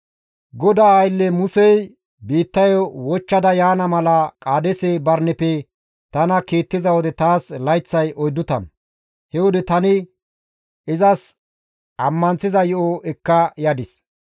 GODAA aylle Musey biittayo wochchada yaana mala Qaadeese Barineppe tana kiittiza wode taas layththay 40. He wode tani izas ammanththiza yo7o ekka yadis.